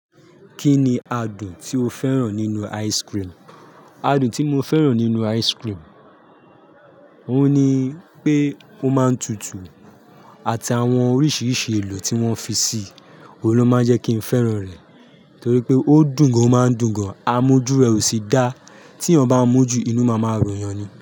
Kí ni adùn tí o fẹ́ràn nínú ice cream? Adùn tí mo fẹ́ràn nínú ice cream, òun ni pé ó máa ń tutù àti àwọn oríṣiríṣi èlò tí wọ́n fi sí i. Ohun lo máa ń jẹ́ kí n fẹ́ràn rẹ̀ torí pé ó dùn gan-an, ó máa ń dùn gan-an. Amo ojú rẹ̀ ò sì dá. Tí eeyan bá mú ju, inú máa máa run yàn ni.